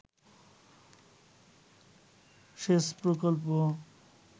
সেচ প্রকল্প